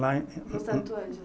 Lá em. No Santo Angêlo?